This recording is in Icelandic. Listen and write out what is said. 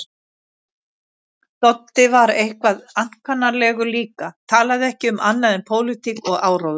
Doddi var eitthvað ankannalegur líka, talaði ekki um annað en pólitík og áróður.